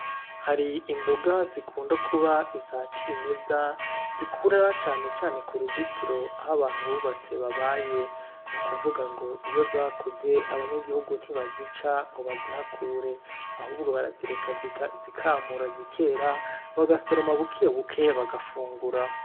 Hari imboga zikund akuza iza cimeza, zikura na cane cane ku ruzitiro aho abantu bubatse babaye. Nukuvuga ngo iyo zakuze, abanyagihugu ntibazica ngo bazihakure. Ahubwo barazireka zikamura, zikera, bagasoroma bukebuke, bagafungura.